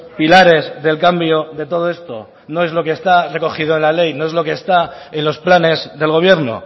pilares del cambio de todo esto no es lo que está recogido en la ley no es lo que está en los planes del gobierno